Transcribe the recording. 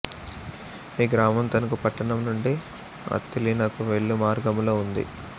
ఈ గ్రామం తణుకు పట్టణం నుండి అత్తిలి నకు వెళ్ళు మార్గములో ఉంది